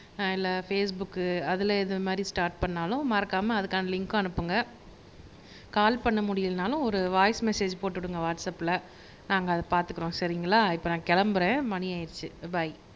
ஆஹ் இல்லைபேஸ்புக் அதுல இந்த மாதிரி ஸ்டார்ட் பண்ணாலும் மறக்காமல் அதுக்கான லிங்க்க அனுப்புங்க கால் பண்ண முடியலைன்னாலும் ஒரு வாய்ஸ் மெஸேஜ் போட்டுடுங்க வாட்ஸப்ல நாங்க அதை பார்த்துக்கிறோம் சரிங்களா இப்ப நான் கிளம்புறேன் மணி ஆயிடுச்சு பாய்